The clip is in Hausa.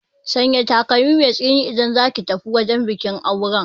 Sanya takalmi mai tsini idan zaki tafi wajen bikin auren